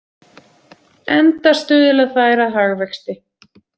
Enda stuðla þær að hagvexti.